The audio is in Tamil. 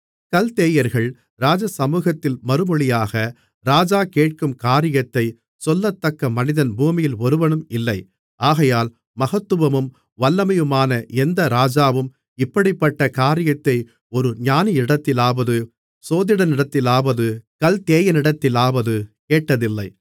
கல்தேயர்கள் ராஜசமுகத்தில் மறுமொழியாக ராஜா கேட்கும் காரியத்தை சொல்லத்தக்க மனிதன் பூமியில் ஒருவனும் இல்லை ஆகையால் மகத்துவமும் வல்லமையுமான எந்த ராஜாவும் இப்படிப்பட்ட காரியத்தை ஒரு ஞானியினிடத்திலாவது சோதிடனிடத்திலாவது கல்தேயனிடத்திலாவது கேட்டதில்லை